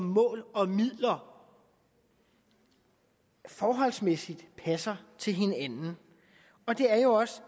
mål og midler forholdsmæssigt passer til hinanden og det er jo også